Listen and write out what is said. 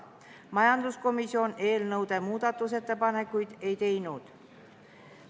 Majanduskomisjon eelnõu kohta muudatusettepanekuid ei teinud.